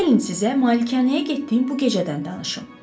Gəlin sizə Malikanəyə getdiyim bu gecədən danışım.